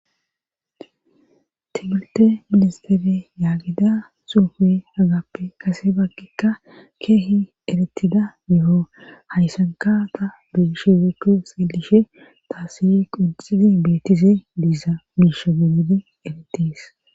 Tibulte ministere yaagida suufi hagappe kase baggikka keehi eretida miho hayssanka ta beegish wekku silishe taasihi qunxidi beettise diiza miisha genidi eretis